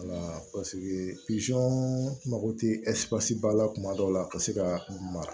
mago tɛ ba la tuma dɔw la ka se ka mara